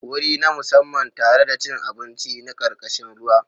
Wuri na musamman tare da cin abinci na karkashin ruwa.